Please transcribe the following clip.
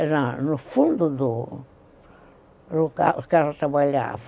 Era no fundo do que ela trabalhava.